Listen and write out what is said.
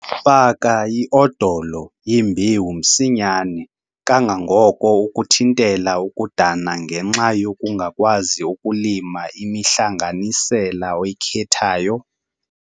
Faka iodolo yembewu msinyane kangangoko ukuthintela ukudana ngenxa yokungakwazi ukulima imihlanganisela oyikhethayo.